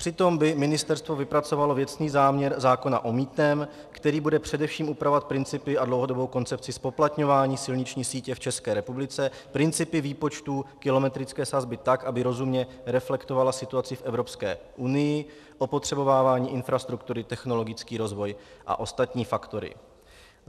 Přitom by Ministerstvo vypracovalo věcný záměr zákona o mýtném, který bude především upravovat principy a dlouhodobou koncepci zpoplatňování silniční sítě v České republice, principy výpočtu kilometrické sazby tak, aby rozumně reflektovala situaci v Evropské unii, opotřebovávání infrastruktury, technologický rozvoj a ostatní faktory.